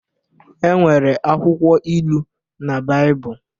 E nwere akwụkwọ Ilu na Baịbụl